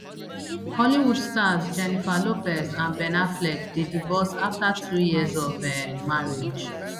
hollywood stars jennifer lopez and ben affleck dey divorce after two years of um marriage